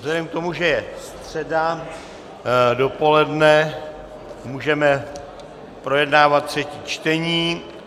Vzhledem k tomu, že je středa dopoledne, můžeme projednávat třetí čtení.